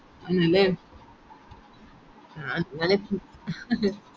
ആന്നല്ലേ അഹ് ഞാൻ എപ്പും